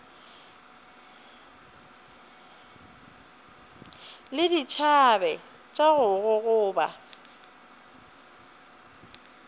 le dithabe tša go gogoba